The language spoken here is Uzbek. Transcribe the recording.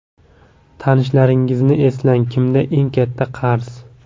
Tanishlaringizni eslang, kimda eng katta qarz?